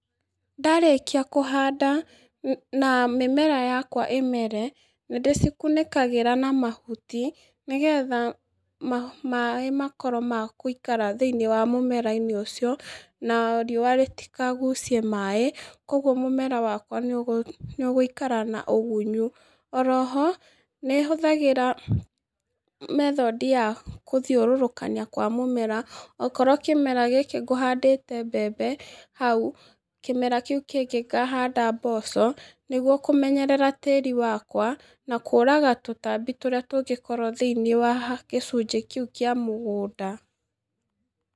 Ndarĩkia kũhanda nĩ na mĩmera yakwa ĩmere, nĩndĩcikunĩkagĩra na mahuti, nĩgetha ma maĩ makakorwo ma kũikara thĩ-inĩ wa mũmera mũmera-inĩ ũcio, na riũa rĩtikagucie maĩ, koguo mũmera wakwa nĩũgũ nĩũgũikara na ũgunyu, oroho, nĩhũthĩraga, method ya kũthiũrũrũkana kwa mũmera, okorwo kĩmera gĩkĩ ngũhandĩte mbembe hau, kĩmera kĩu kĩngĩ ngahanda mboco, nĩguo kũemnyerera tĩri wakwa, na kũraga tũtambi tũrĩa tũngĩkorwo thĩ-inĩ wa haha kĩcunjĩ kĩu kĩa mũgũnda.